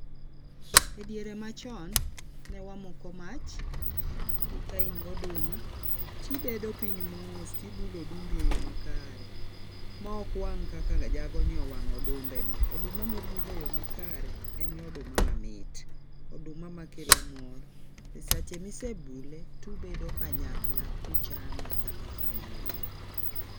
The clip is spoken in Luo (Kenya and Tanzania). E diere machon ne wamoko mach kain goduma tibedo piny mos tibulo odumbi e yo makare maok wang kaka jagoni owango odumbeni. Oduma ma obul e yoo makare en oduma mamit ,oduma makelo mor .Sache misebule tubedo kanyakla kuchame kaka familia